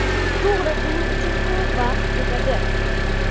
To‘g‘ri, buning uchun ko‘p vaqt ketadi.